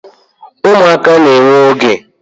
umuaka na-ewe oge